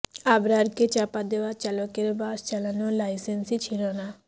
আবরারকে চাপা দেওয়া চালকের বাস চালানোর লাইসেন্সই ছিল না